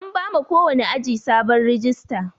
An bama kowani aji sabon rajista.